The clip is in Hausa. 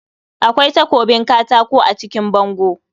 Akwai takobin katako a jikin bango